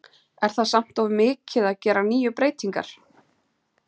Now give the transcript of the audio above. Er það samt of mikið að gera níu breytingar?